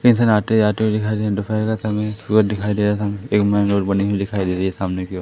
इधर आते-जाते हुए दिखाई दे रहे हैं दोपहर का समय है सूरज दिखाई दे रहा है सामने एक मेन रोड बनी हुई दिखाई दे रही है सामने की ओ --